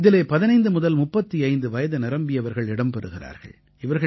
இதிலே 15 முதல் 35 வயது நிரம்பியவர்கள் இடம் பெறுகிறார்கள்